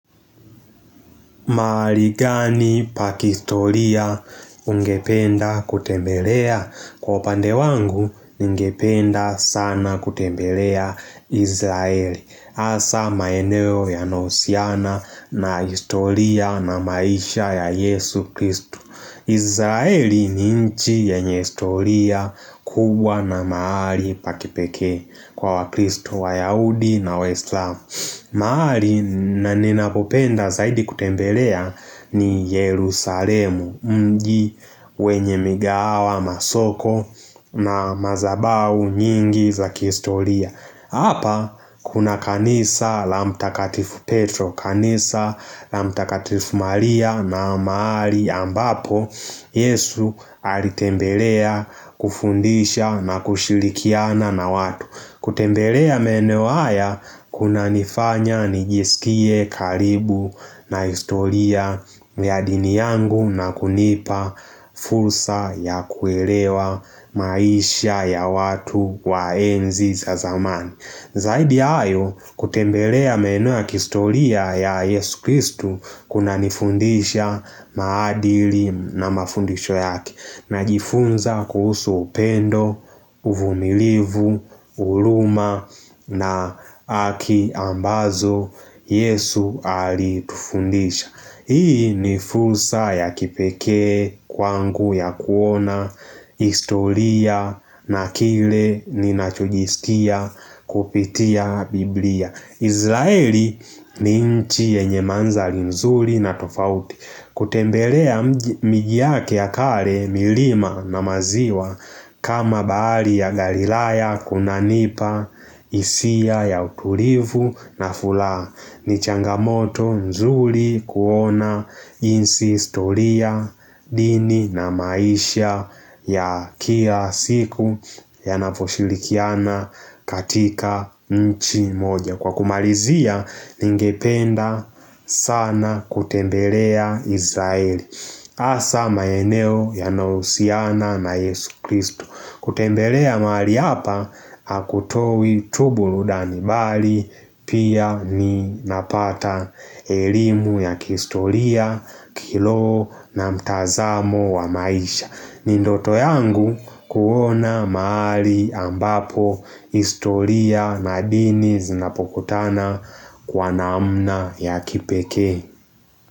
Mahali gani pakihistoria ungependa kutembelea? Kwa pande wangu, ningependa sana kutembelea Izraeli. Hasa maeneo yanayohusiana na historia na maisha ya Yesu Kristu. Izraeli ni nchi yenye historia kubwa na mahali pa kipekee kwa wa Kristu wa Yahudi na wa Islam. Mahali naninapopenda zaidi kutembelea ni Yerusalemu, mji wenye migahawa, masoko na mazabahu nyingi za kihistoria. Hapa kuna kanisa la mtakatifu Petro, kanisa la mtakatifu Maria na maari ambapo, Yesu alitembelea kufundisha na kushirikiana na watu. Kutembelea maeneo haya kunanifanya nijisikie karibu na historia ya dini yangu na kunipa fursa ya kuelewa maisha ya watu wa enzi za zamani. Zaidi ya hayo kutembelea maeneo kihistoria ya Yesu Kristu kuna nifundisha maadili na mafundisho yake Najifunza kuhusu upendo, uvumilivu, huruma na haki ambazo Yesu alitufundisha Hii ni fursa ya kipeke, kwangu ya kuona, historia na kile ninachokiskia kupitia biblia. Izraeli ni nchi yenye manzali nzuri na tofauti. Kutembelea miji yake ya kale milima na maziwa kama bahari ya galilaya kuna nipa, hisia ya utulivu na furaha. Nichangamoto nzuri kuona jinsi historia dini na maisha ya kia siku yanaposhirikiana katika nchi moja Kwa kumalizia ningependa sana kutembelea Izraeli hasa maeneo yanahusiana na Yesu Kristu kutembelea mahali hapa, hakutowi tu burudani bali, pia ni napata elimu ya kihistoria, kiroho na mtazamo wa maisha. Ni ndoto yangu kuona mahali ambapo, historia na dini zinapokutana kwa naamna ya kipeke.